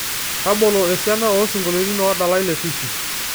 tabolo esiana oosingoliotin oodalae letisi